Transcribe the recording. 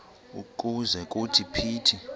ukuze kuthi phithi